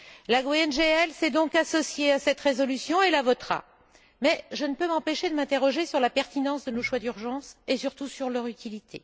Le groupe GUE NGL s'est donc associé à cette résolution et la votera, mais je ne peux m'empêcher de m'interroger sur la pertinence de nos choix d'urgence et surtout sur leur utilité.